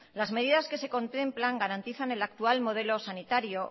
las medidas que se contemplan garantizan el actual modelo sanitario